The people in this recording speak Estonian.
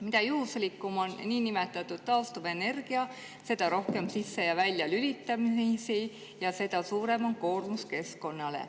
Mida juhuslikum on niinimetatud taastuvenergia, seda rohkem sisse‑ ja väljalülitamisi ja seda suurem on koormus keskkonnale.